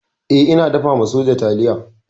E, ina dafa soja taliya.